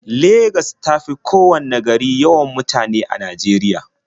Legas ta fi kowanne gari yawan mutane a Najeriya.